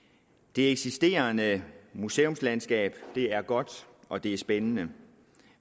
det eksisterende museumslandskab er godt og det er spændende